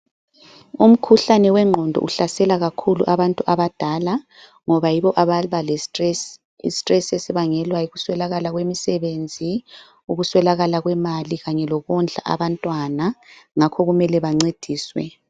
Umkhuhlane wengqondo uhlasela kakhulu abantu abadala ngoba yibo ababa le -stress. I stress esibangelwa yikuswelakala kwemisebenzi, ukuswelakala kwemali kanye lokondla abantwana. Ngakho kumele bancediswe.